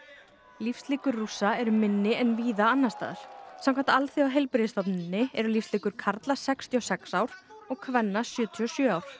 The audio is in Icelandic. lífslíkur Rússa eru minni en víða annars staðar samkvæmt Alþjóðaheilbrigðisstofnuninni eru lífslíkur karla sextíu og sex ár og kvenna sjötíu og sjö ár